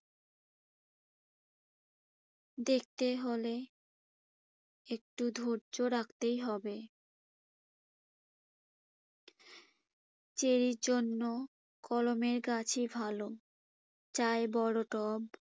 দেখতে হলে একটু ধৈর্য রাখতেই হবে। চেরির জন্য কলমের গাছই ভালো। চাই বড় টব।